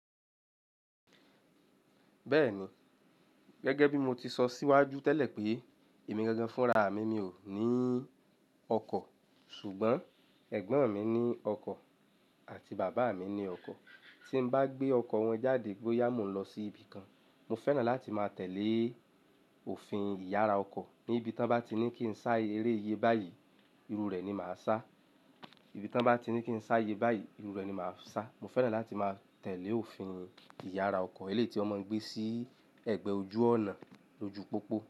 Bẹ́ẹ̀ni, gẹ́gẹ́ bí mo ti sọ síwájú tẹ́lẹ̀ pé èmi gangan fún ra mi ni ò ní ọkọ̀. Ṣùgbọ́n ẹ̀gbọ́n mi ní ọkọ̀ àti bàbá mi ní ọkọ̀. Tí n bá gbé ọkọ̀ wọn jáde boyà mo n lọ sí ibìkan, mo fẹ́ràn láti máa tẹ̀lẹ́ òfin ìyára ọkọ̀. Ní ibi tí wọ́n ba ti ní kí n sá eré iye báyìí, irú rẹ̀ ni màá sá. Ibi tí wọ́n bá ti ní kí n sá ye báyìí, irú rẹ̀ ni màá sá. Mo fẹ́ràn láti máa tẹ̀lẹ́ òfin ìyára ọkọ̀. Eléyi tí wọ́n máa ń gbé sí ẹgbẹ́ ojú ọnà lójú pópó.